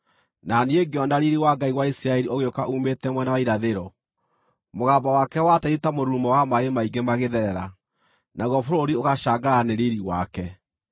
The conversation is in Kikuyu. na niĩ ngĩona riiri wa Ngai wa Isiraeli ũgĩũka uumĩte mwena wa irathĩro. Mũgambo wake watariĩ ta mũrurumo wa maaĩ maingĩ magĩtherera, naguo bũrũri ũgacangarara nĩ riiri wake.